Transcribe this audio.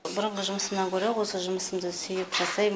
бұрынғы жұмысымнан гөрі осы жұмысымды сүйіп жасаймын